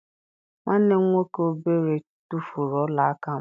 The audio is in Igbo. Nwanne m nwoke obere tufuru ọla aka m.